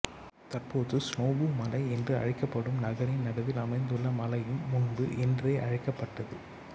தற்போது சினோபு மலை என்று அழைக்கப்படும் நகரின் நடுவில் அமைந்துள்ள மலையும் முன்பு என்றே அழைக்கப்பட்டது